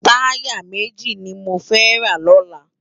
Tàyá méji ni mó fè rá lòlá